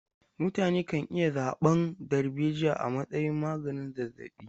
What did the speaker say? Mutane kan iya zaɓan darbejiya a matsayin maganin zazzaɓi.